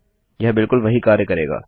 यह बिलकुल वही कार्य करेगा